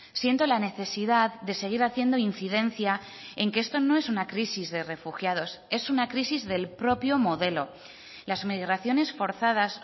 siento la necesidad de seguir haciendo incidencia en que esto no es una crisis de refugiados es una crisis del propio modelo las migraciones forzadas